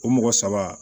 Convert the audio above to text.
O mɔgɔ saba